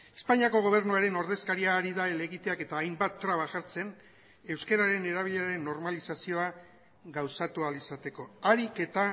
espainiako gobernuaren ordezkaria ari da helegiteak eta hainbat traba jartzen euskararen erabileraren normalizazioa gauzatu ahal izateko ahalik eta